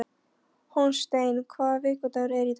Hólmsteinn, hvaða vikudagur er í dag?